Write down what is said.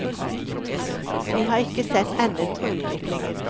Vi har ikke sett enden på utviklingen.